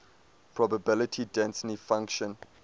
probability density function